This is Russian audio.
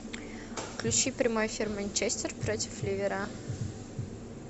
включи прямой эфир манчестер против ливера